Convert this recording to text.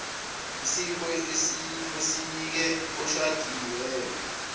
isipho osinike oshadiweyo